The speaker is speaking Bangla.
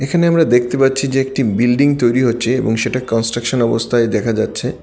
এখানে আমরা দেখতে পাচ্ছি যে একটি বিল্ডিং তৈরি হচ্ছে এবং সেটা কনস্ট্রাকশন অবস্থায় দেখা যাচ্ছে।